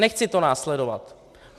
Nechci to následovat.